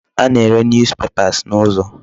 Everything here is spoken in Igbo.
A na-ere News papers n'ụzọ.